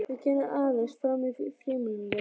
Ég kenni aðeins fram í frímínútur.